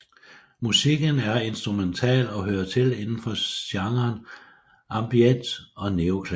Musikken er instrumental og hører til inden for genrene ambient og neoklassisk